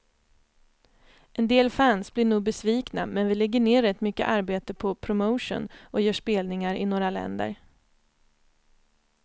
En del fans blir nog besvikna, men vi lägger ner rätt mycket arbete på promotion och gör spelningar i några länder.